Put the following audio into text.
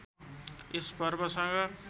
यस पर्वसँग